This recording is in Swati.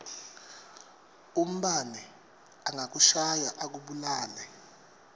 umbane angakushaya akubulale